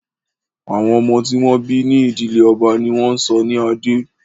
Àwọn ọmọ tí wọ́n bí ní ìdílé ọba ní wọ́n ń sọ ní Adé